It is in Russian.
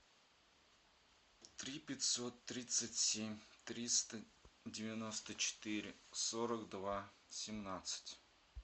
три пятьсот тридцать семь триста девяносто четыре сорок два семнадцать